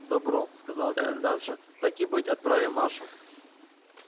добро сказала комендантша так и быть отправим машу